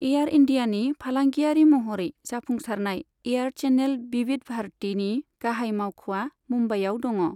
Air इन्डियानि फालांगियारि महरै जाफुंसारनाय एयार चेनेल विविध भारतीनि गाहाय मावख'आ मुम्बाइआव दङ।